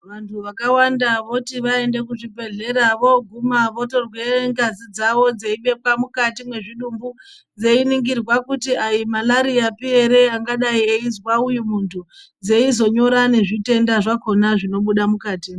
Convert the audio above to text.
Vantu vakawanda voti vaende kuzvibhedhlera vooguma votorwe ngazi dzavo dzeibekwa mukati mwezvitubu. Dzeiningirwa kuti aimarariyapi ere yangadai yechizwa uyu muntu. Dzeizonyora ngezvitenda zvakona zvinobuda mukatimwo.